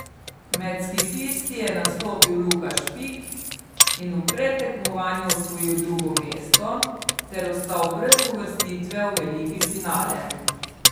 Med skifisti je nastopil Luka Špik in v predtekmovanju osvojil drugo mesto ter ostal brez uvrstitve v veliki finale.